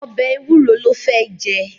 Ọbẹ̀ Ewúro ló fé jẹ.